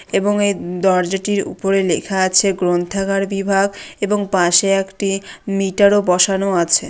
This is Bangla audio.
এবং এই দরজাটির উপরে লেখা আছে গ্রন্থাগার বিভাগ এবং পাশে একটি মিটার ও বসানো আছে।